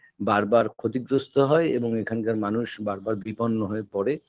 বারবার ক্ষতিগ্রস্ত হয় এবং এখানকার মানুষ বারবার বিপন্ন হয়ে পরে